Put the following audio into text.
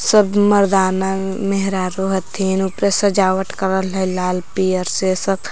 सब मरदाना मेहरारू हथिन उपर सजावट करल हय लाल पियर से सब।